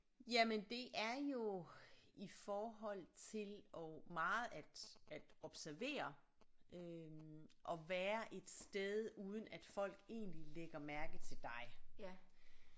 Jamen det er jo i forhold til og meget at at observere øh og være et sted uden at folk egentlig lægger mærke til dig